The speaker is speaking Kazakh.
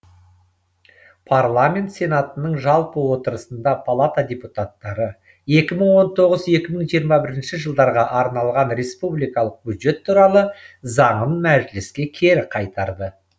парламент сенатының жалпы отырысында палата депутаттары екі мың он тоғыз екі мың жиырма бір жылдарға арналған республикалық бюджет туралы заңын мәжіліске кері қайтарды